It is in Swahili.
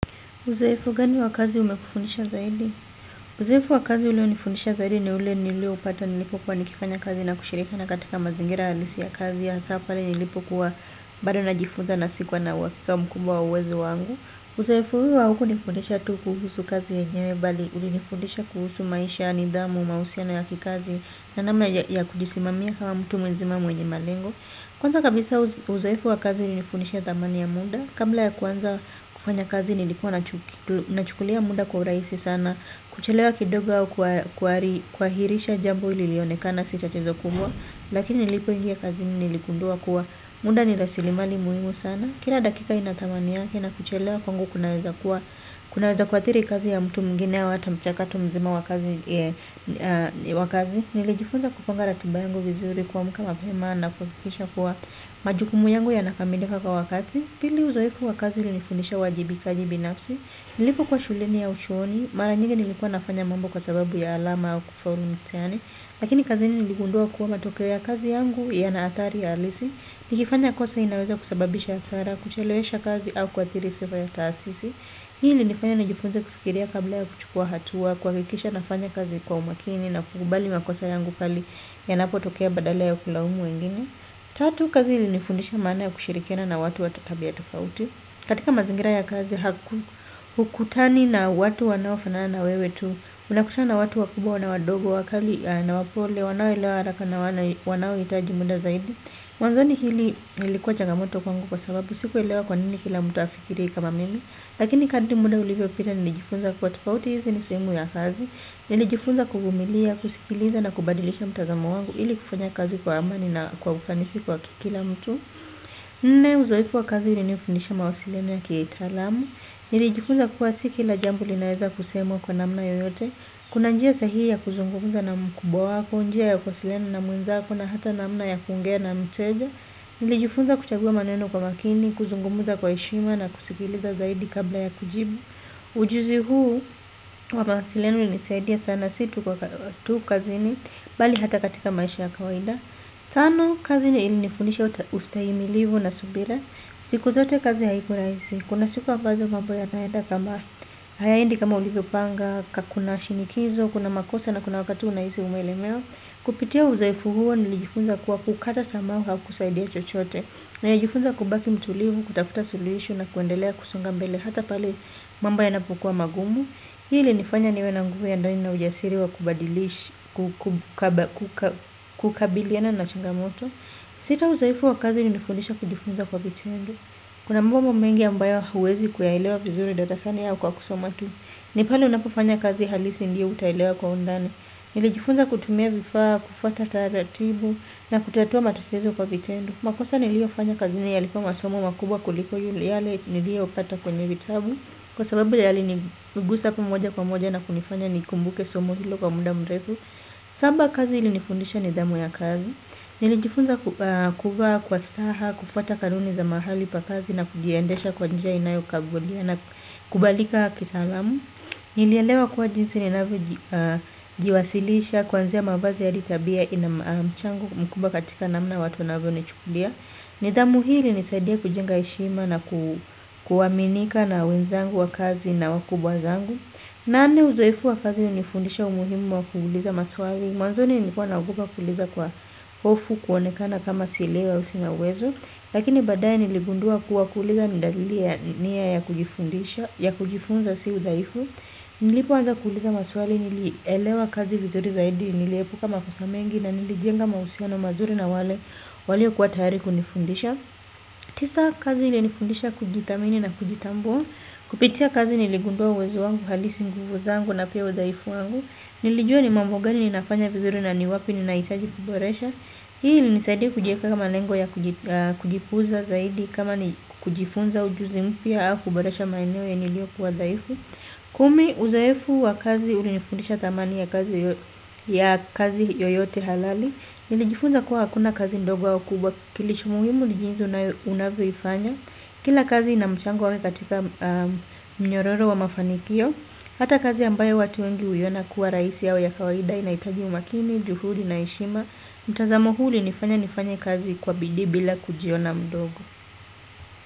Uzoefu gani wa kazi umekufundisha zaidi? Uzoegu wa kazi ulio nifundisha zaidi ni ule nilio upata nilipokuwa nikifanya kazi na kushirika na katika mazingira halisi ya kazi ya hasapali nilipo kwa bari na jifunza na sikuwa na wakika mkumbwa uwezo wangu. Uzoefu huu wa huku nifundisha tu kuhusu kazi ya nyebali, ulinifundisha kuhusu maisha, nidhamu, mausiana ya kikazi na nama ya kujisimamia kama mtu mwenzimamu enjimalengo. Kwanza kabisa uzoefu wa kazi ulinifundisha thamani ya muda. Kabla ya kuanza kufanya kazi nilikuwa nachukulia muda kwa urahisi sana. Kuchelewa kidogo au kuhairisha jambo lilionekana si tatizo kubwa. Nilipoingia kazini niligundua kuwa muda ni rasilimali muhimu sana. Kila dakika ina thamani yake na kuchelewa kwangu kunaweza kuathiri kazi ya mtu mwingine ya wata mchakatu mzima wakazi. Wakazi. Nilejifunza kuponga ratuba yangu vizuri kwa muka mapema na kukikisha kuwa majukumu yangu yanakamideka kwa wakati. Pili uzoefu wa kazi ulinifundisha uwajibikaji binafsi. Nilipokuwa shuleni au chuoni. Mara nyingi nilikuwa nafanya mambo kwa sababu ya alama au kufaulu mthani. Lakini kazini niligundua kuwa matokeo ya kazi yangu yana athari halisi. Nikifanya kosa inaweza kusababisha hasara, kuchelewesha kazi au kuathiri sifa ya taasisi. Hii nilifanya na jifunze kufikiria kabla ya kuchukua hatuwa kwa hikisha nafanya kazi kwa umakini na kukubali makosa yangu pali ya napo tokea badala ya kulawumu wengine tatu kazi ili nifundisha mana ya kushirikina na watu watatabi ya tofauti katika mazingira ya kazi haku ukutani na watu wanaofanana na wewe tu unakutana na watu wakubwa na wadogo wakali na wapole wanawilewa haraka na wanawitaji muda zaidi wanzoni hili ilikuwa changamoto kwangu kwa sababu siku elewa kwanini kila mutafikiri kama mimi. Lakini kadimude ulivyo pita nilijifunza kuatakauti hizi nisemu ya kazi, nilijifunza kugumilia, kusikiliza na kubadilisha mtazamo wangu ili kufanya kazi kwa amani na kwa ufanisi kwa kikila mtu. Nne uzoefu wa kazi ulinifundisha mawasiliano ya kitaalamu, nilijifunza kuwa si kila jambo linaeza kusemwa kwa namna yoyote. Kuna njia sahi ya kuzungumuza na mkubwa wako, njia ya kuwasiliana na mwenzako na hata namna ya kuongea na mteja. Nilijifunza kuchagua maneno kwa makini, kuzungumza kwa heshima na kusikiliza zaidi kabla ya kujibu. Ujuzi huu, wa mawasiliano ulinisaidia sana si tu kwa kazini, bali hata katika maisha ya kawaida. Tano, kazi ilinifunisha ustahimilivu na subira. Siku zote kazi haikuwa rahisi, kuna siku ambazo mambo yanaeda kama hayaendi kama ulivyopanga, kuna shinikizo, kuna makosa na kuna wakati unahisi umelemewa. Kupitia uzoefu huo nilijifunza kuwa kukata tamaa hakutakusaidia chochote. Nilijifunza kubaki mtulivu, kutafuta suluhisho na kuendelea kusonga mbele hata pale mambo yanapokua magumu. Hii ilinifanya niwe na nguvu ya ndani na ujasiri wa kubadilishi, kukabiliana na changamoto. Sita uzoefu wa kazi ulinilifundisha kujifunza kwa vitendo. Kuna mambo mengi ambayo huwezi kuyaelewa vizuri darasani au kwa kusoma tu. Ni pale unapofanya kazi halisi ndiyo utaelewa kwa undani. Nilijifunza kutumia vifaa, kufuata taratibu na kutatua matatizo kwa vitendo. Makosa nilio fanya kazi ni yalikua masomo makubwa kuliko yale nilio pata kwenye vitabu. Kwa sababu yalinigusa moja kwa moja na kunifanya nikumbuke somo hilo kwa muda mrefu. Saba kazi ilinifundisha nidhamu ya kazi. Nilijifunza kuvaa kwa staha, kufuata kanuni za mahali pa kazi na kujiendesha kwa njia inayo kagulia na kubalika kitaalamu. Nilielewa kuwa jinsi ninavyo jiwasilisha kwanzia mavazi hadi tabia ina mchango mkubwa katika namna watu wanavyonichukulia. Nidhamu hili ilinisaidia kujenga heshima na kuaminika na wenzangu wa kazi na wakubwa zangu. Nane uzoefu wa kazi ulinifundisha umuhimu wa kuuuliza maswali. Mwanzoni nilikuwa naogopa kuuliza kwa hofu kuonekana kama sielewi ama sina uwezo. Lakini baadae niligundua kuwa kuuliza ni dalili ya kujifundisha ya kujifunza si udhaifu. Nilipo anza kuuliza maswali nilielewa kazi vizuri zaidi, niliepuka makosa mengi na nilijenga mahusiano mazuri na wale walio kuwa tayari kunifundisha. Tisa kazi ilinifundisha kujithamini na kujitambua. Kupitia kazi niligundua uwezo wangu halisi, nguvu zangu na pia udhaifu wangu. Nilijua ni mambo gani ninafanya vizuri na ni wapi ninahitaji kuboresha. Hii ilinisaidia kujiekea malengo ya kujikuza zaidi kama ni kujifunza ujuzi mpya au kuboresha maeneo yalio kuwa dhaifu. Kumi, uzoefu wa kazi ulinifundisha thamani ya kazi yoyote halali. Nilijifunza kuwa hakuna kazi ndogo au kubwa kilicho muhimu ni jinsi unavyo ifanya. Kila kazi ina mchango wake katika mnyororo wa mafanikio. Hata kazi ambayo watu wengi huiona kuwa rahisi au ya kawaida inahitaji umakini, juhudi na heshima. Mtazamo huu ulinifanya nifanye kazi kwa bidii bila kujiona mdogo.